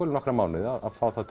nokkra mánuði að fá þá